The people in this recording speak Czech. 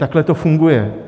Takhle to funguje.